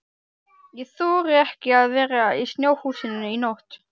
Ég þori ekki að vera í snjóhúsinu í nótt.